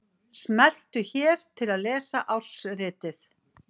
Smelltu hér til að lesa ársritið